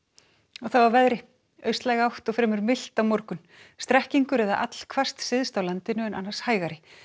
og þá að veðri austlæg átt og fremur milt á morgun strekkingur eða allhvasst syðst á landinu en annars hægari